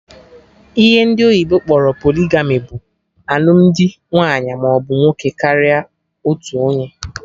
Ihe ndị oyibo kpọrọ polygamy bụ alụmdi nwaanyị maọbụ nwoke karịrị otu onye